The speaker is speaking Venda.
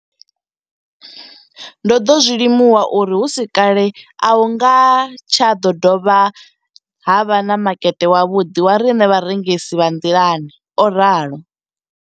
Ndo ḓo zwi limuwa uri hu si kale a hu nga tsha ḓo vha na makete wavhuḓi wa riṋe vharengisi vha nḓilani, o ralo.